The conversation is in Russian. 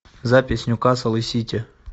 запись ньюкасл и сити